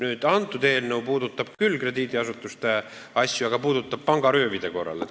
Tänane eelnõu puudutab küll ka krediidiasutusi, aga vaid pangaröövidega seoses.